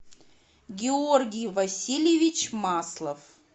георгий васильевич маслов